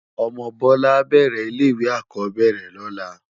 Òmò Bola á bèrè ilé iwé ákòóbèrè lòlá